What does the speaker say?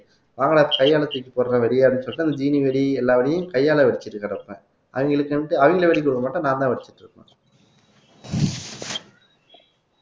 வாங்கடா கையால தூக்கி போடுறேன் வெடியான்னு சொல்லிட்டு அந்த தீனி வெடி எல்லா வேலையும் கையால வச்சிட்டு கிடப்பேன் அவங்களுக்கு வந்துட்டு அவங்களை வெடிக்க விட மாட்டேன் நான்தான் அடிச்சிட்டு இருக்கணும்